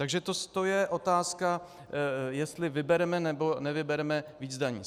Takže to je otázka, jestli vybereme nebo nevybereme víc daní.